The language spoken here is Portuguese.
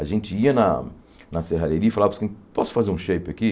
A gente ia na na serrareria e falava, posso fazer um shape aqui?